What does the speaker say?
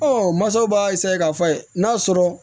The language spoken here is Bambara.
masaw b'a k'a fɔ a ye n'a sɔrɔ